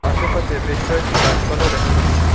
আশেপাশে বেশ কয়েকটি গাছপালাও দেখা যাচ্ছে।